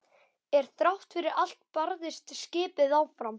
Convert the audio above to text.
En þrátt fyrir allt barðist skipið áfram.